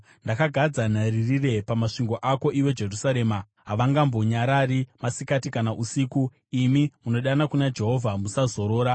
Ndakagadza nharirire pamasvingo ako, iwe Jerusarema; havangambonyarari masikati kana usiku. Imi munodana kuna Jehovha, musazorora,